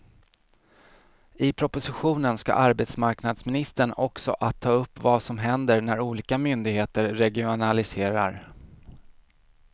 I propositionen ska arbetsmarknadsministern också att ta upp vad som händer när olika myndigheter regionaliserar.